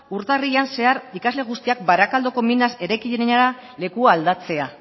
urtarrilean zehar ikasle guztiak barakaldoko minas eraikinera lekua aldatzea